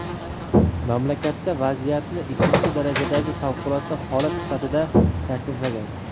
mamlakatda vaziyatni ikkinchi darajadagi favqulodda holat sifatida tasniflagan.